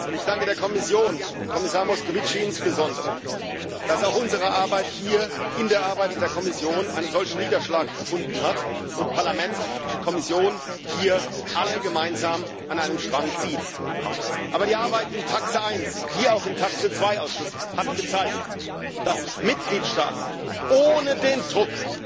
Ich danke der Kommission, dem Kommissar Moscovici insbesondere, dass auch unsere Arbeit hier in der Arbeit der Kommission einen solchen Niederschlag gefunden hat und Parlament und Kommission hier alle gemeinsam an einem Strang ziehen. Aber die Arbeit im TAX wie auch im TAX 2 Ausschuss hat gezeigt, dass Mitgliedstaaten ohne den Druck,